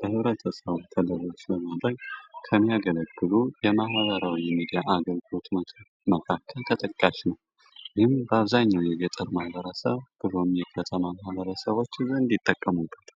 ለህብረተሰቡ በማሰራጨት ከሚያገለግ ከማህበራዊ ሚዲያዎች ውስጥ አንዱ ሬዲዮ ነው ይህ በአብዛኛው የገጠር ማህበረሰብ የከተማ ማበረሰቦች ምን ይጠቀሙበታል።